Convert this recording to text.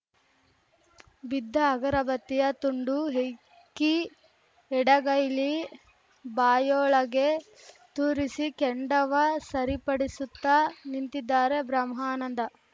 ಬಿದ್ದ ಅಗರಬತ್ತಿಯ ತುಂಡು ಹೆಕ್ಕಿ ಎಡಗೈಲಿ ಬಾಯೊಳಗೆ ತೂರಿಸಿ ಕೆಂಡವ ಸರಿಪಡಿಸುತ್ತ ನಿಂತಿದ್ದಾರೆ ಬ್ರಹ್ಮಾನಂದ